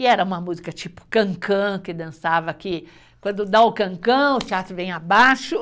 E era uma música tipo cancã, que dançava que quando dá o cancã, o teatro vem abaixo.